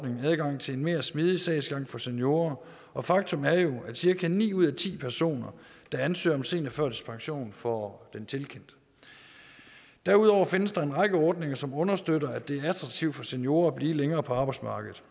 adgang til en mere smidig sagsgang for seniorer og faktum er jo at cirka ni ud af ti personer der ansøger om seniorførtidspension får den tilkendt derudover findes der en række ordninger som understøtter at det er attraktivt for seniorer at blive længere på arbejdsmarkedet